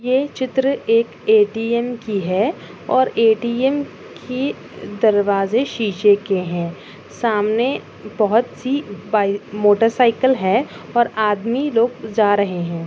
ये चित्र एक ए टी एम और ए टी एम की दरवाजे शीशे के है। सामने बोहोत सी बाई मोटर साइकिल है और आदमी लोग जा रहे है।